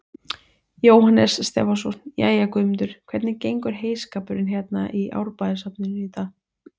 Jóhannes Stefánsson: Jæja, Guðmundur, hvernig gengur heyskapurinn hérna í Árbæjarsafninu í dag?